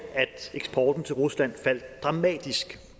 eksporten til rusland faldt dramatisk